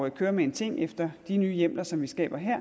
at køre med en ting efter de nye hjemler som vi skaber her